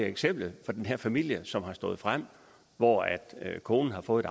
eksempel den her familie som er stået frem og hvor konen har fået